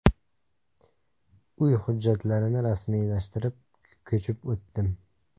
Uy hujjatlarini rasmiylashtirib, ko‘chib o‘tdim.